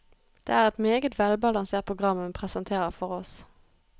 Det er et meget velbalansert program hun presenterer for oss.